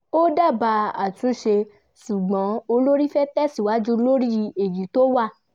ó dábàá àtúnṣe ṣùgbọ́n olórí fẹ́ tẹ̀síwájú lórí èyí tó wà